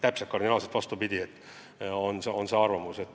Nii te kardinaalselt vastupidine on nende arvamus.